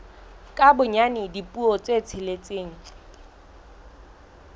ka bonyane dipuo tse tsheletseng